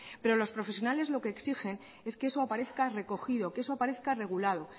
pero los profesionales lo que exigen es que eso aparezca recogido que eso aparezca regulado